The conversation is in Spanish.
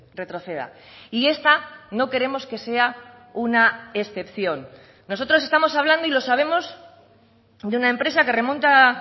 retroceda y esta no queremos que sea una excepción nosotros estamos hablando y lo sabemos de una empresa que remonta